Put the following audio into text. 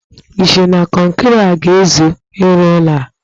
I cheere na kọnkịrị a ga-ezu irụ ụlọ a?